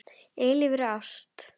Eilífri ást.